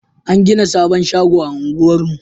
An gina sabon shago a unguwar mu